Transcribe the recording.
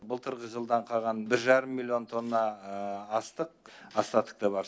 былтырғы жылдан қалған бір жарым миллион тонна астық остаток та бар